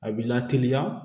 A bi lateliya